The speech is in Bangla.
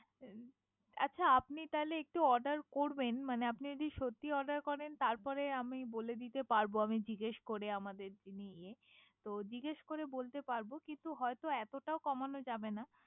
আচ্ছা আপনি তাহলে একটু Order করবেন । মানে আপনি যদি সত্যি Order করেন তার পরে আমি বলে দিতে পারবো আমাদের যিনি ইয়ে। তো জিগেস করে বলে দিতে পারবে। হয়ত এতটাও কমানো যাবে না।